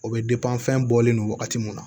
O bɛ fɛn bɔlen don wagati min na